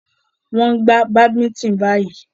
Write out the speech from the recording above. Wọ́n ń gbà badminton báyìí.